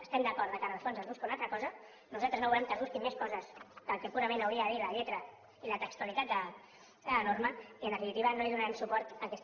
estem d’acord que en el fons es busca una altra cosa nosaltres no volem que es busquin més coses del que purament hauria de dir la lletra i la textualitat de la norma i en definitiva no donarem suport a aquesta llei